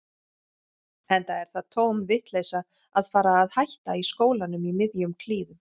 Enda er það tóm vitleysa að fara að hætta í skólanum í miðjum klíðum.